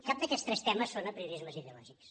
cap d’aquests tres temes són apriorismes ideològics